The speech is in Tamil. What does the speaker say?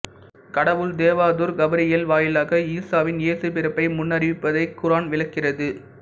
கடவுள் தேவதூர் கபிரியேல் வாயிலாக ஈசாவின்இயேசு பிறப்பை முன்னறிவிப்பதை குரான் விளக்குகிறது